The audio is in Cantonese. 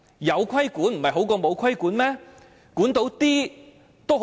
有規管不是較沒有規管好嗎？